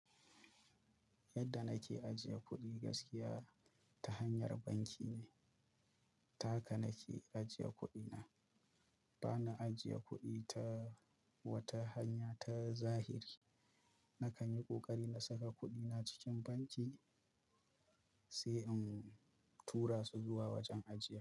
Yadda nake ajiye kuɗi gaskiya ta hanyar banki ne. Ta haka nake ajiye kuɗina. Bana ajiye kuɗi ta wata hanya ta zahiri. Na kan yi ƙoƙari na saka kuɗina cikin banki sai in tura su zuwa wajen ajiye.